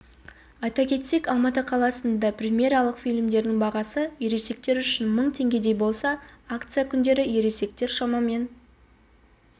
айта кетсек алматы қаласында премьералық фильмдердің бағасы ересектер үшін мың теңгедей болса акция күндері ересектер шамамен